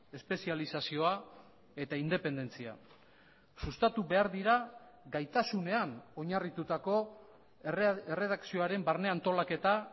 espezializazioa eta independentzia sustatu behar dira gaitasunean oinarritutako erredakzioaren barne antolaketa